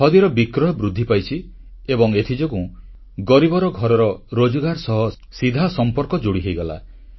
ଖଦୀର ବିକ୍ରୟ ବୃଦ୍ଧି ପାଇଛି ଏବଂ ଏଥିଯୋଗୁଁ ଗରିବର ଘରର ରୋଜଗାର ସହ ସିଧା ସମ୍ପର୍କ ଯୋଡ଼ି ହୋଇଗଲା